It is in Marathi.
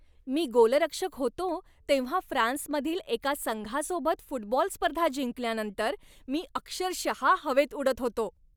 मी गोलरक्षक होतो तेव्हा फ्रान्समधील एका संघासोबत फुटबॉल स्पर्धा जिंकल्यानंतर मी अक्षरशः हवेत उडत होतो.